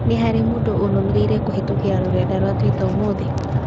Nĩ harĩ mũndũ ũnũmĩrĩire kũhītũkīra rũrenda rũa tũita ũmũthĩ.